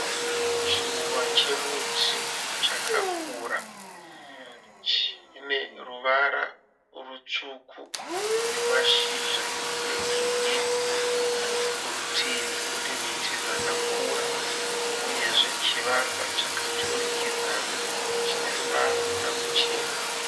Chiruva chemuti chakakura. Chine ruvara rutsvuku nemashizha egirinhi. Kurutivi kune miti dzakakura uyezve chivakwa chakaturikidzana chine ruvara ruchena.